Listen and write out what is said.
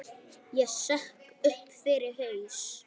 Ég sökk upp fyrir haus.